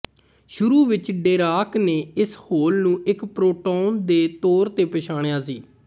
ਸ਼ੁਰੂ ਵਿੱਚ ਡੀਰਾਕ ਨੇ ਇਸ ਹੋਲ ਨੂੰ ਇੱਕ ਪ੍ਰੋਟੌਨ ਦੇ ਤੌਰ ਤੇ ਪਛਾਣਿਆ ਸੀ